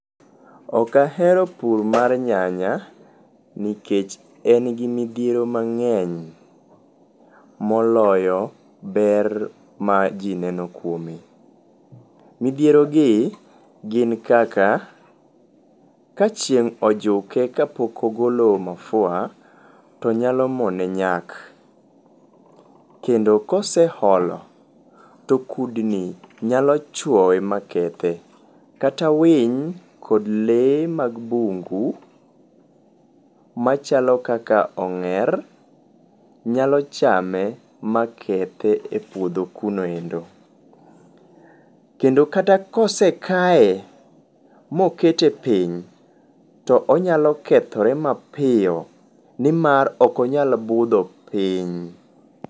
Okahero pur mar nyanya nikech en gimidhiero mang'eny moloyo ber ma jii neno kwome. MIdhierogi gin kaka; ka chieng' ojuke ka pok ogolo mafua, to nyalo mone nyak. Kendo koseholo to kudni nyaloo chwowe makethe. Kata winy kod lee mag bungu machalo kaka ong'er nyalo chame makethe e puodho kuno endo. Kendo kata kosekae, mokete piny, to onyalo kethore mapio ni mar okonyal budho piny.